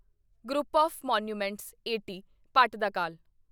group of monuments at Pattadakal